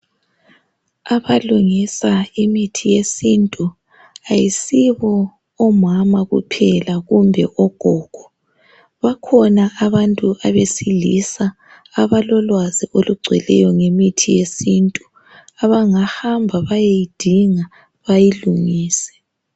Abalungusa imithi yesintu akusibo omama kuphela kumbe ogogo bakhona abantu besilisa abalolwazi lungcweleyo ngemithi ye sintu abangahamba beyeyidinga bayilungise